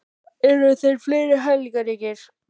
Eru þeir hæfileikaríkir?